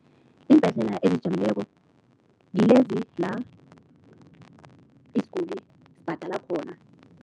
Iimbhedlela ezizijameleko ngilezi la isiguli sibhadala khona.